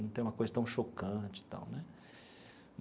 Não tem uma coisa tão chocante e tal né.